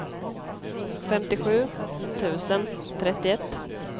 femtiosju tusen trettioett